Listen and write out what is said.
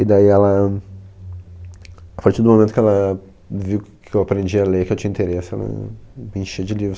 E daí ela, a partir do momento que ela viu que eu aprendi a ler, que eu tinha interesse, ela me enchia de livros.